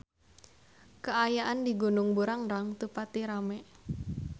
Kaayaan di Gunung Burangrang teu pati rame